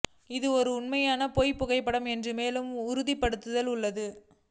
இது ஒரு உண்மையான பேய் புகைப்படம் என்று மேலும் உறுதிப்படுத்தல் உள்ளது